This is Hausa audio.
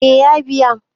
eh ya biya